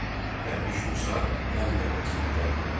Dərviş Musa qəm dəryasına qərq oldu.